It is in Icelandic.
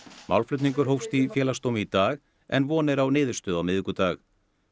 málflutningur hófst í Félagsdómi í dag en von er á niðurstöðu á miðvikudag